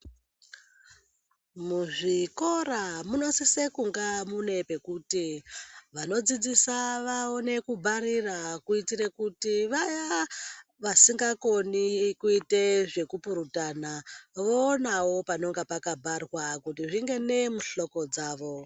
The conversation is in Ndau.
Muzvikora munosisa kunga mune pekuti vanodzidzisa vaone kubharira kuitire kuti vaya vasingakone kuite zvekupurutana voonavo panenge pakabharwaa kuti zvingene muhloko dzavo.